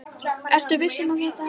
Ertu viss um að þetta hafi verið hún?